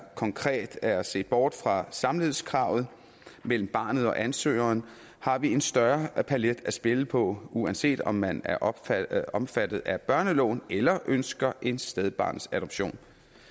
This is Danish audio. konkret er set bort fra samlivskravet mellem barnet og ansøgeren har vi en større palet at spille på uanset om man er omfattet er omfattet af børneloven eller ønsker en stedbarnsadoption